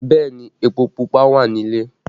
Bẹẹ ni, epo Pupa wà nílé